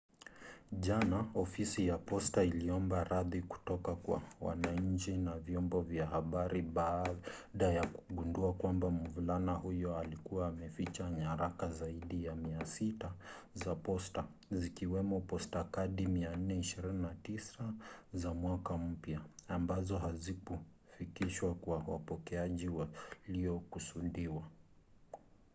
jana ofisi ya posta iliomba radhi kutoka kwa wananchi na vyombo vya habari baada ya kugundua kwamba mvulana huyo alikuwa ameficha nyaraka zaidi ya 600 za posta zikiwemo postkadi 429 za mwaka mpya ambazo hazikufikishwa kwa wapokeaji waliokusudiwa